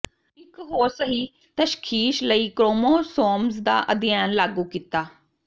ਇੱਕ ਹੋਰ ਸਹੀ ਤਸ਼ਖੀਸ਼ ਲਈ ਕ੍ਰੋਮੋਸੋਮਜ਼ ਦਾ ਅਧਿਐਨ ਲਾਗੂ ਕੀਤਾ